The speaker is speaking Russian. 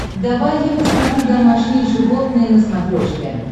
давай я посмотрю домашние животные на смотрешке